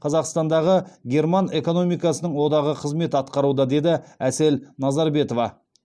қазақтандағы герман экономикасының одағы қызмет атқаруда деді әсел назарбетова